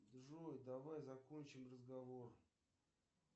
джой давай закончим разговор